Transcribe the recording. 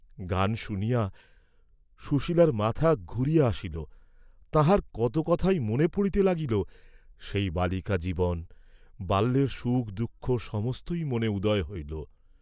গান শুনিয়া সুশীলর মাথা ঘুরিয়া আসিল, তাঁহার কত কথাই মনে পড়িতে লাগিল, সেই বালিকাজীবন, বাল্যের সুখ দুঃখ সমস্তই মনে উদয় হইল।